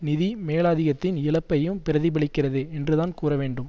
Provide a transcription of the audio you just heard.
நிதி மேலாதிக்கத்தின் இழப்பையும் பிரதிபலிக்கிறது என்றுதான் கூறவேண்டும்